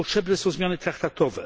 Czy potrzebne są zmiany traktatów?